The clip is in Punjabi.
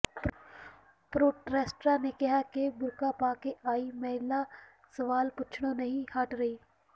ਪ੍ਰੋਟੈੱਸਟਰਾਂ ਨੇ ਕਿਹਾ ਕਿ ਬੁਰਕਾ ਪਾ ਕੇ ਆਈ ਮਹਿਲਾ ਸਵਾਲ ਪੁੱਛਣੋਂ ਨਹੀਂ ਸੀ ਹਟ ਰਹੀ